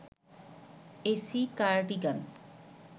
AC cardigan